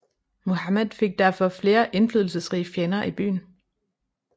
Muhammad fik derfor flere indflydelsesrige fjender i byen